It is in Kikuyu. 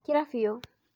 Kira bĩu.